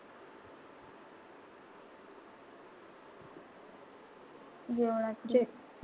जेवणाची?